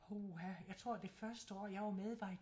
Puha jeg tror det første år jeg var med var i